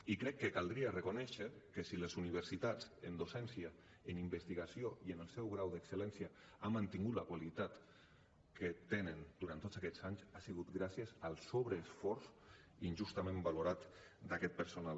i crec que caldria reconèixer que si les universitats en docència en investigació i en el seu grau d’excellència han mantingut la qualitat que tenen durant tots aquests anys ha sigut gràcies al sobreesforç injustament valorat d’aquest personal